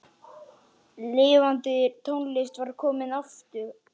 Lifandi tónlist var komin aftur.